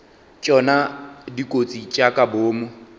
tšona dikotsi tša ka boomo